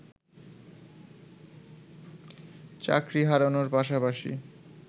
চাকরি হারানোর পাশাপাশি